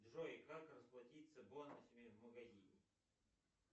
джой как расплатиться бонусами в магазине